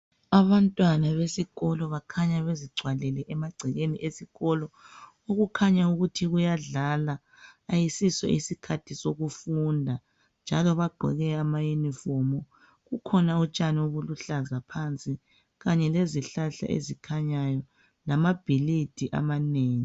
Abantwana besikolo bakhanya bezigcwalele amagcekeni esikolo okukhanya ukuthi kuyadlala ayisiso isikhathi sokufunda njalo bagqoke amaunifomu kukhona utshani obuluhlaza phansi kanye lezihlahla ezikhanyayo lamabhilidi amanengi